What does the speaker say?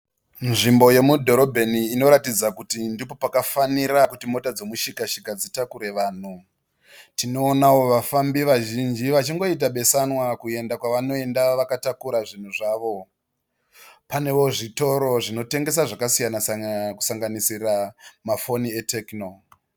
Nzvimbo yemudhorobheni inoratidza kuti ndipo pakafanira kuti mota dzemushika shika dzitakure vanhu , tinoonawo vafambi vazhinji vachingoita beesanwa kuenda kwavanoenda vakatakura zvinhu zvavo. Panewo zvitoro zvinotengesa zvakasiyana siyana kusanganisira mafoni eTecno.